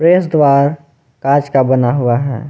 प्रवेश द्वार कांच का बना हुआ है।